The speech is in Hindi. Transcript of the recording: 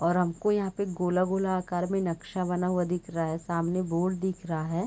और हमको यहाँ पे गोला-गोला आकार में नक्शा बना हुआ दिख रहा हैं। सामने बोर्ड दिख रहा है।